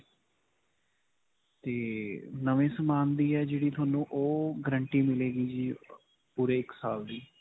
'ਤੇ ਨਵੇਂ ਸਮਾਨ ਦੀ ਹੈ ਜਿਹੜੀ. ਤੁਹਾਨੂੰ ਉਹ guarantee ਮਿਲੇਗੀ ਜੀ ਪੂਰੇ ਇੱਕ ਸਾਲ ਦੀ.